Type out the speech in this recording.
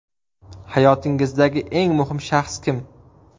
Hayotingizdagi eng muhim shaxs kim?